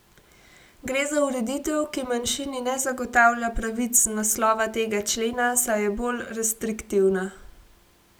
Gre za ureditev, ki manjšini ne zagotavlja pravic z naslova tega člena, saj je bolj restriktivna.